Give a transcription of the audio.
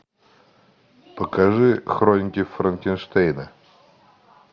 покажи хроники франкенштейна